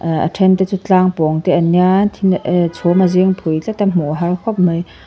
eh a then te chu tlâng pawng te an nia thil eh chhum a zing phui tlat a hmuh a har khawp mai.